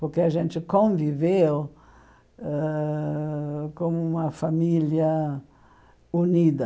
Porque a gente conviveu ãh como uma família unida.